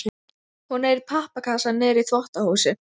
Hún er í pappakassa niðri í þvottahúsi.